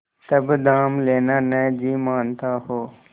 तब दाम लेना न जी मानता हो